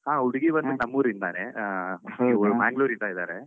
ಹಾ ಹುಡುಗಿ. ಬಂದ್ಬಿಟ್ಟು ನಮ್ಮೂರಿಂದಾನೇ. ಅಹ್Manglore ಯಿಂದ ಇದ್ದಾರೆ.